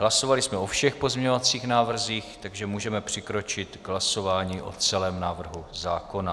Hlasovali jsme o všech pozměňovacích návrzích, takže můžeme přikročit k hlasování o celém návrhu zákona.